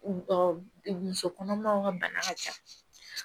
Muso kɔnɔmaw ka bana ka ca